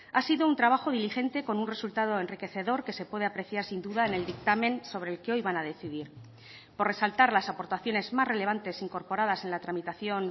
ha sido un trabajo diligente con un resultado enriquecedor que se puede apreciar sin duda en el dictamen sobre el que hoy van a decidir por resaltar las aportaciones más relevantes incorporadas en la tramitación